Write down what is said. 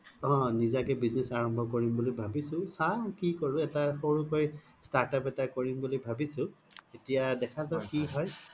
অ নিজা কে business আৰাম্ভ কৰিম বুলি ভাবিছো চাও কি কৰো এটা সৰু কৈ startup এটা কৰিম বুলি ভাবিছো এতিয়া দেখা জাওক কি হয়